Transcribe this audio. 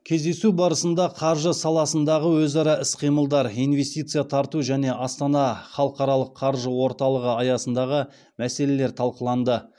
кездесу барысында қаржы саласындағы өзара іс қимылдар инвестиция тарту және астана халықаралық қаржы орталығы аясындағы мәселелер талқыланды